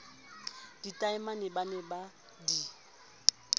ditaemane ba ne ba di